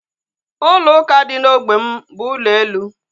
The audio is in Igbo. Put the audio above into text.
Ụlọ ụka dị na ógbè m bụ ụlọ elu